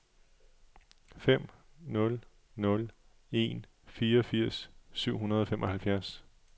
fem nul nul en fireogfirs syv hundrede og femoghalvfjerds